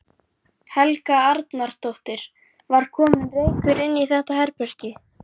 Helga Arnardóttir: Var kominn reykur inn í þetta herbergi?